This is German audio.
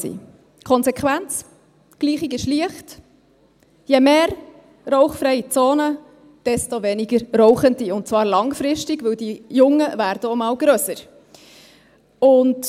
Die Konsequenz: Je mehr rauchfreie Zonen, desto weniger Rauchende – die Gleichung ist einfach –, und zwar langfristig, denn die Jungen werden auch mal grösser.